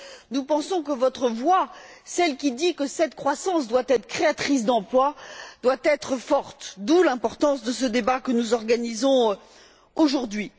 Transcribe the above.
nous pensons que votre voix, celle qui dit que cette croissance doit être créatrice d'emplois, doit être forte, d'où l'importance de ce débat que nous organisons aujourd'hui.